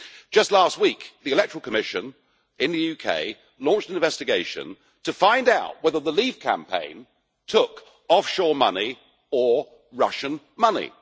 Just last week the Electoral Commission in the UK launched an investigation to find out whether the Leave campaign took offshore money or Russian money.